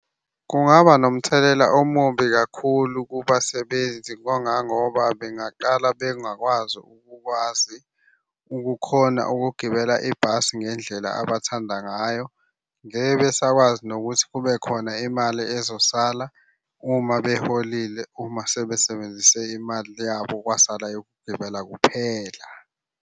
Kungaba nomthelela omubi kakhulu kubasebenzi kangangoba bengaqala bengakwazi ukukwazi ukukhona ukugibela ibhasi ngendlela abathanda ngayo. Ngeke besakwazi nokuthi kube khona imali ezosala uma beholile uma sebesebenzise imali yabo kwasala yokugibela kuphela.